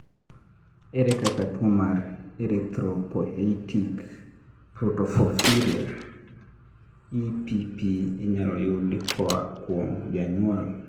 ere kaka tuwo mar erythropoietic protoporphyria (EPP) inyalo yud koa kuom janyuol?